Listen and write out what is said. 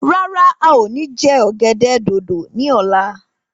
Rárá, a o ní je ọ̀gẹ̀dẹ̀ dòdò ni ọ̀la.